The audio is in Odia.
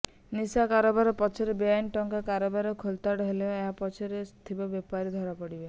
ନିଶା କାରବାର ପଛରେ ବେଆଇନ୍ ଟଙ୍କା କାରବାର ଖୋଳତାଡ ହେଲେ ଏହା ପଛରେ ଥିବା ବେପାରୀ ଧରାପଡିବେ